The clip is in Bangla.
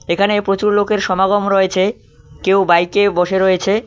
এখানে প্রচুর লোকের সমাগম রয়েছে কেউ বাইকে বসে রয়েছে।